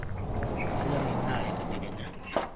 kanyorr endaa etedekenya